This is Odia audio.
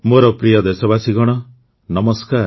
ମୋର ପ୍ରିୟ ଦେଶବାସୀଗଣ ନମସ୍କାର